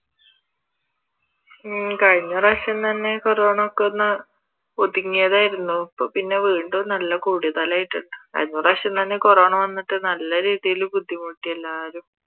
ഉം കഴിഞ്ഞ പ്രാവിശ്യം തന്നെ കൊറോണ ഒക്കെ ഒന്ന് ഒതുങ്ങിയതായിരുന്നു ഇപ്പൊ പിന്നെ വീണ്ടും നല്ല കൂടുതലായിട്ടുണ്ട് കഴിഞ്ഞ പ്രാവിശ്യം തന്നെ കൊറോണ വന്നിട്ട് നല്ല രീതിയിൽ ബുദ്ധിമുട്ടി എല്ലാവരും